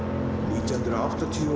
nítján hundruð áttatíu og